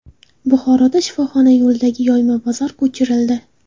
Buxoroda shifoxona yo‘lidagi yoyma bozor ko‘chirildi.